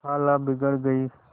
खाला बिगड़ गयीं